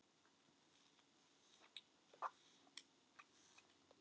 Við verðum að hugsa þannig.